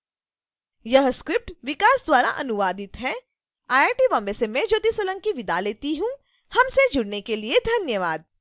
यह स्क्रिप्ट विकास द्वारा अनुवादित है आई आई टी बॉम्बे से मैं ज्योति सोलंकी आपसे विदा लेती हूँ हमसे जुड़ने के लिए धन्यवाद